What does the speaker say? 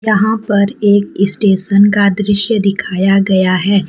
यहां पर एक स्टेशन का दृश्य दिखाया गया है।